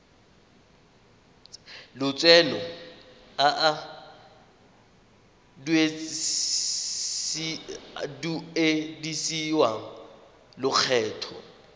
lotseno a a duedisiwang lokgetho